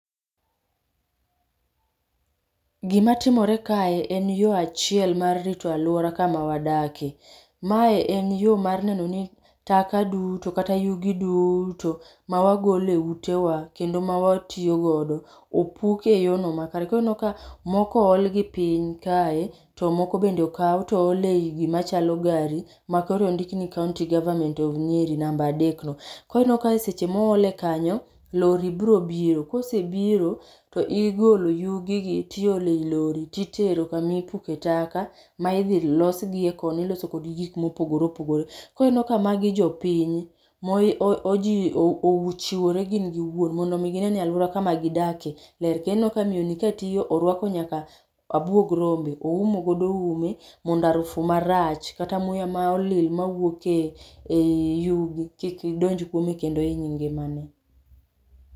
Gima timore kae, en yo achiel mar rito alwora kama wadake. Ma en yo mar nenoni taka duto, kata yugi duto ma wagolo e utewa, kata ma watiyogodo, opuk e yono maber. Koro ineno ka moko ool gi piny kae, to moko bende okaw to ool e gima chalo gari, ma kore ondikni County Government of Nyeri, namba adekno. Koro ineno ka seche ma oole kanyo, lori brobiro, kose biro to igolo yugigi to iolei lori, titero kama ipuke taka ma idhi los gi. Iloso kodgi gik mopogore opogore. Koro ineno ka magi jopiny, mochiwore gin giwuon mondo gineni alwora kama gidake ler. Kendo ineno ka miyoni katiyo, orwako nyaka abuog rombe, oumo ume, mondo arufu marach kata muya ma olil mawuoke ei yugi, kik donj kuome kendo iny ngimane.